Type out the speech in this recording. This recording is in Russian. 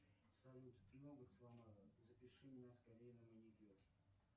салют ноготь сломала запиши меня скорее на маникюр